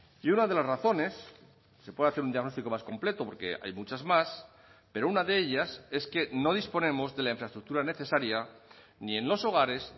y una de las razones se puede hacer un diagnóstico más completo porque hay muchas más pero una de ellas es que no disponemos de la infraestructura necesaria ni en los hogares